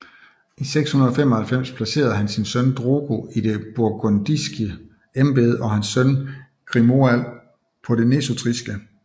I 695 placerede han sin søn Drogo i det burgundiske embede og hans søn Grimoald på nesutriske